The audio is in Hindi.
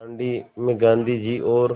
दाँडी में गाँधी जी और